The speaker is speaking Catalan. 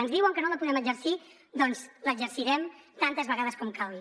ens diuen que no la podem exercir doncs l’exercirem tantes vegades com calgui